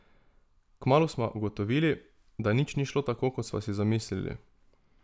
Kmalu sva ugotovili, da nič ni šlo tako, kot sva si zamislili.